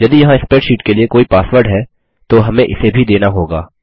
यदि यहाँ स्प्रैडशीट के लिए कोई पासवर्ड है तो हमें इसे भी देना होगा